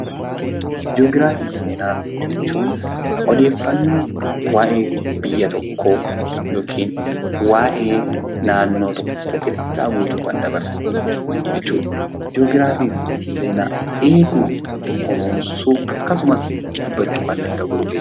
Jii'oogiraa fi seenaa jechuun waayee biyya tokkoo yookiin waayee naannoo tokkoo ergaa guutuu kan dabarsan jechuudha. Jii'oogiraafii fi seenaan eeguu fi kunuunsuu akkasumas dubbachuu danda'uu kan qabudha.